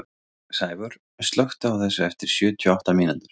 Sævör, slökktu á þessu eftir sjötíu og átta mínútur.